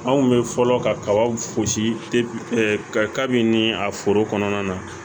Anw kun bɛ fɔlɔ kabaw fosi ka kabi nin a foro kɔnɔna na